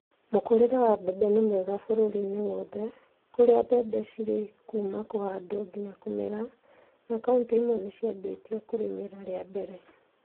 Mũkũrĩre wa mbembe nĩ mwega bũrũri-inĩ wothe kũrĩa mbembe cirĩ kuuma kũhandwo nginya kũmera na kauntĩ imwe nĩciambitie kũrĩmĩra rĩa mbele